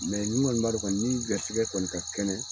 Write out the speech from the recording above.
n ŋɔni b'a dɔn kɔni ni garisɛgɛ kɔni ka kɛnɛ